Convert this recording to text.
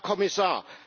Herr Kommissar!